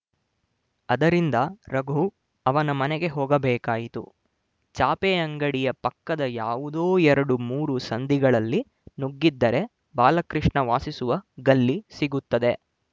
ಅದರಿಂದ ರಘು ಅವನ ಮನೆಗೆ ಹೋಗಬೇಕಾಯಿತು ಚಾಪೆ ಅಂಗಡಿಯ ಪಕ್ಕದ ಯಾವುದೋ ಎರಡು ಮೂರು ಸಂದಿಗಳಲ್ಲಿ ನುಗ್ಗಿದರೆ ಬಾಲಕೃಷ್ಣ ವಾಸಿಸುವ ಗಲ್ಲಿ ಸಿಗುತ್ತದೆ